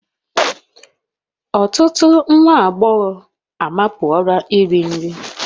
Ọtụtụ nwa agbọghọ amapuola iri nri